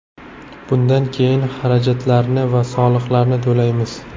Bundan keyin xarajatlarni va soliqlarni to‘laymiz.